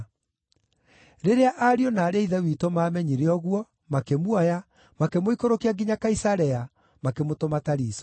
Rĩrĩa ariũ na aarĩ a Ithe witũ maamenyire ũguo, makĩmuoya, makĩmũikũrũkia nginya Kaisarea, makĩmũtũma Tariso.